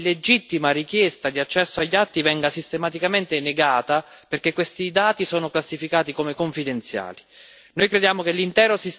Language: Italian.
Troviamo sconvolgente che ogni legittima richiesta di accesso agli atti venga sistematicamente negata perché questi dati sono classificati come confidenziali.